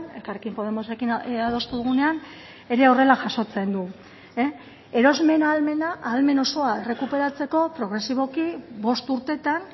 elkarrekin podemosekin adostu dugunean ere horrela jasotzen du erosmen ahalmena ahalmen osoa errekuperatzeko progresiboki bost urteetan